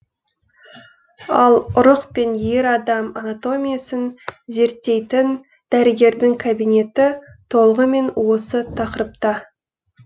ал ұрық пен ер адам анатомиясын зерттейтін дәрігердің кабинеті толығымен осы тақырыпта